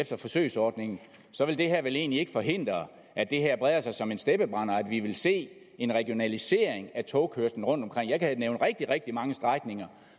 efter forsøgsordningen vil det her vel egentlig ikke forhindre at det her breder sig som en steppebrand og at vi vil se en regionalisering af togkørslen rundtomkring jeg kan nævne rigtig rigtig mange strækninger